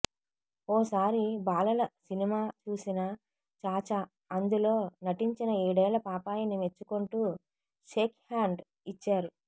ఓసారి బాలల సినిమా చూసిన చాచా అందులో నటించిన ఏడేళ్ల పాపాయిని మెచ్చుకుంటూ షేక్హ్యాండ్ ఇచ్చారు